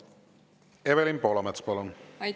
Evelin Poolamets, palun!